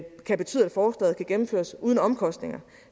kan betyde at forslaget kan gennemføres uden omkostninger